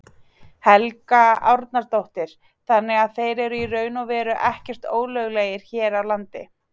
Helga Arnardóttir: Þannig að þeir eru í raun og veru ekkert ólöglegir hér á landi?